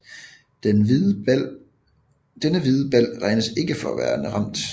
Denne hvide bal regnes ikke for værende ramt